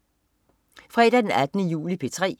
Fredag den 18. juli - P3: